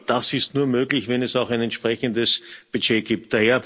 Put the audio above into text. Das ist nur möglich, wenn es auch ein entsprechendes Budget gibt.